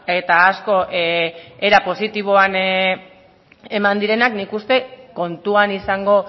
eta asko era positiboan eman direnak nik uste kontuan izango